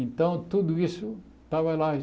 Então, tudo isso estava lá.